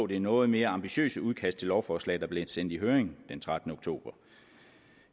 det noget mere ambitiøse udkast til lovforslaget der blev sendt i høring den trettende oktober